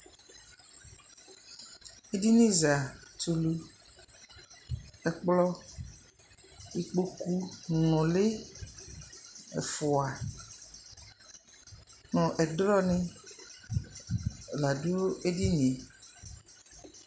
ɛdini za tʋlʋ, ɛkplɔ, ikpɔkʋ nʋli ɛƒʋa nʋ ɛdrɔ ni ladʋ ɛdiniɛ